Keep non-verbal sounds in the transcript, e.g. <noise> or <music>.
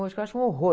<unintelligible> eu acho um horror.